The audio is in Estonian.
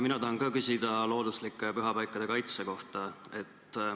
Mina tahan ka küsida looduslike pühapaikade kaitse kohta.